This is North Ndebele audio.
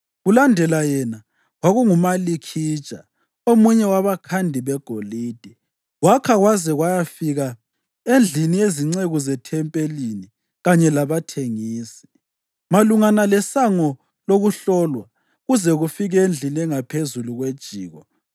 Kulandela yena, kwakunguMalikhija, omunye wabakhandi begolide, wakha kwaze kwayafika endlini yezinceku zethempelini kanye labathengisi, malungana leSango lokuHlolwa, kuze kufike endlini engaphezulu kwejiko;